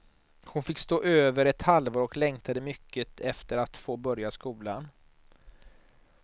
Hon fick stå över ett halvår och längtade mycket efter att få börja skolan.